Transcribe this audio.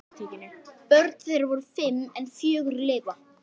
Börn þeirra voru fimm en fjögur lifa.